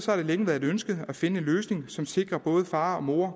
har det længe været et ønske at finde en løsning som sikrer både far og mor